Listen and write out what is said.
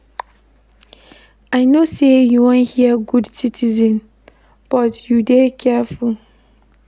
I know sey you wan answer good citizen but you go dey careful.